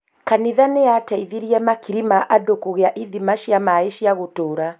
Kanitha nĩyateithirie makiri ma andũ kũgĩa ithima cia maaĩ cia gũtũũra.